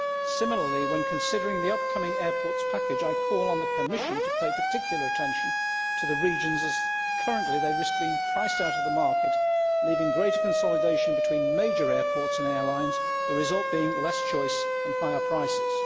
Similarly, when considering the upcoming airports package, I call on the Commission to pay particular attention to the regions, as currently they risk being priced out of the market leaving greater consolidation between major airports and airlines, with the result being less choice and higher prices.